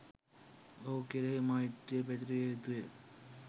ඔහු කෙරෙහි මෛත්‍රිය පැතිරවිය යුතු ය.